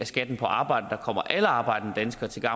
skatten på arbejde der kommer alle arbejdende danskere til